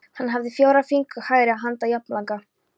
Hann hafði fjóra fingur hægri handar jafnlanga.